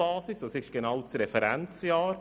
Welches Jahr bildet die Referenz genau?